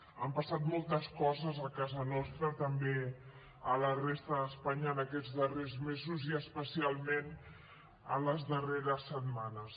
han passat moltes coses a casa nostra també a la resta d’espanya en aquests darrers mesos i especialment en les darreres setmanes